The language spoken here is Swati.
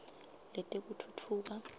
letekutfutfuka